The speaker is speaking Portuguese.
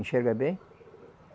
Enxerga bem?